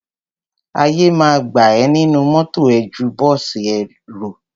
Àyè ma gbà ẹ nínú mọ́tọ̀ ẹ ju bọ́ọ̀sì èrò.